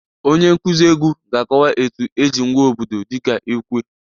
Onye nkuzi egwu ga-akọwa etu eji ngwa obodo dịka ekwe